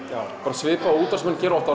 bara svipað og útvarpsmenn gera oft